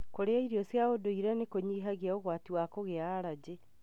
Kũrĩa irio cia ũnduire nĩkunyihagia ũgwati wa kũgia arangĩ.